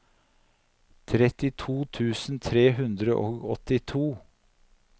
trettito tusen tre hundre og åttito